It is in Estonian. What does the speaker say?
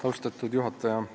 Austatud juhataja!